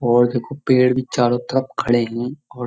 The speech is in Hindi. और देखो पेड़ भी चारों तरफ खड़े हैं और --